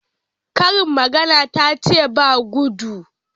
Karin magana tace ba guɗu?